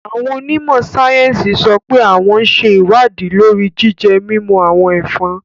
Awón onimo sayensi sope awon n se iwadi lori jije-mimu awon efòn